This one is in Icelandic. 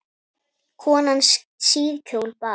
Konan síðkjól bar.